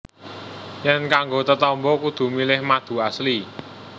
Yèn kanggo tetamba kudu milih madu Asli